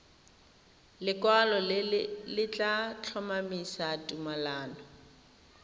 lekwalo le tla tlhomamisa tumalano